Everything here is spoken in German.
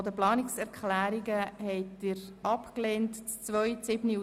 Wer diese annimmt, stimmt Ja, wer diese ablehnt, stimmt Nein.